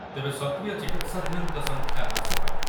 ତେବେ ସକ୍ରିୟ ଚିକିତ୍ସାଧିନଙ୍କ ସଂଖ୍ୟା ହ୍ରାସ ପାଇ